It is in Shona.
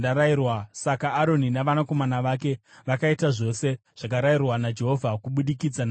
Saka Aroni navanakomana vake vakaita zvose zvakarayirwa naJehovha kubudikidza naMozisi.